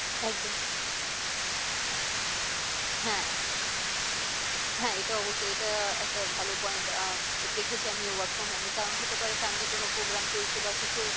একদম হ্যাঁ হ্যাঁ এটা অবশ্যই এটা একটা ভালো point আহ দেখেছি আমি work from home এ কারণ হতে পারে family কোনো program চলছে বা কিছু